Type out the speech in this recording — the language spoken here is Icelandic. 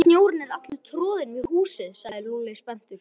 Sjáðu, snjórinn er allur troðinn við húsið sagði Lúlli spenntur.